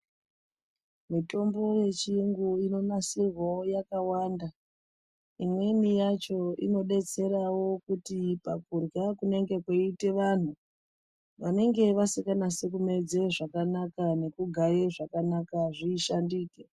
Mitombo yechiyungu inonasirwawo yakawanda. Imweni yacho inodetserawo kuti pakurya kunenge kweiite vanhu, vanenge vasinganasi kumedze zvakanaka nekugaye zvakanaka zvishandike.